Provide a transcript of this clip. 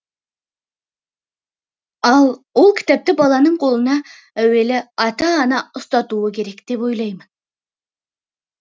ал ол кітапты баланың қолына әуелі ата ана ұстатуы керек деп ойлаймын